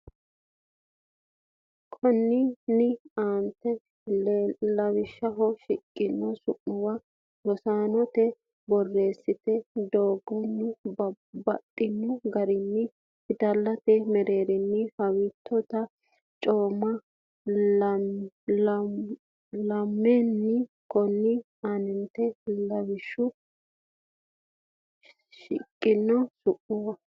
Konninni aante lawishshaho shiqqino su’muwa rosantino borreessate doogonni baxxino garinni fidallate mereero haawiittote camme la’neemmo Konninni aante lawishshaho shiqqino su’muwa.